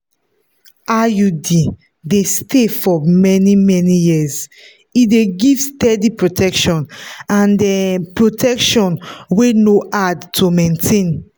iud dey stay for many-many years e dey give steady protection and um protection wey no hard to maintain